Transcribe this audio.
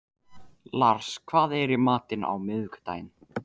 Lars, hvað er í matinn á miðvikudaginn?